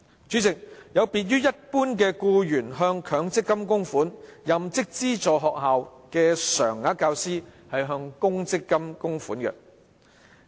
主席，一般僱員向強制性公積金供款，但任職資助學校的常額教師向公積金供款。